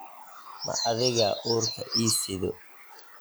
Ma adigaa uurka ii sido?